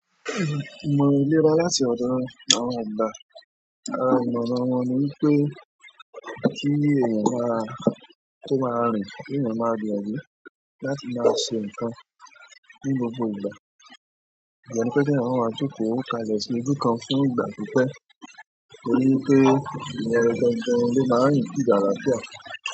Ìmọ̀ iléra láti ọ̀dọ̀ àwọn àgbà. Ará ìmọ̀ràn won ní wipé kí èèyàn máa, tó má rìn, kí èèyàn máa de ri láti máa ṣe ǹkan ní gbogbo ìgbà. Iyen ni wipé pe ki eyan máa maa jokò ká lesì ojú kan fún ìgbà pípẹ́ torí pé ìyẹn gangan ló máa increase àlàáfíà.